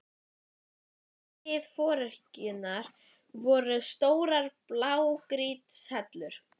Framan við dyr forkirkjunnar voru stórar blágrýtishellur.